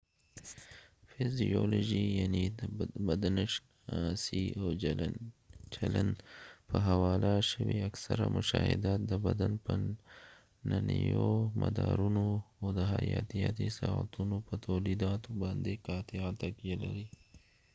فزیولوژي یعني بدنشناسۍ او چلند په حواله شوي اکثره مشاهدات د بدن په دننیو مدارونو او د حیاتیاتي ساعتونو په تولیداتو باندې قاطعه تکیه لري